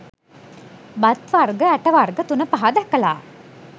බත් වර්ග ඇට වර්ග තුනපහ දැකලා